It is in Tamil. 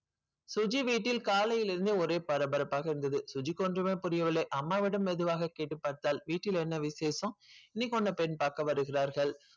சுஜி வீட்டில் காலையில் இருந்து ஒரே பரபரப்பாக இருந்தது சுஜிக்கு ஒன்றுமே புரியவில்லை அம்மா விடம் மெதுவாக கேட்டு பார்த்தால் வீட்டில் என்ன விசேஷம் இன்னைக்கு உன்னை பெண் பார்க்க வருகிறார்கள்.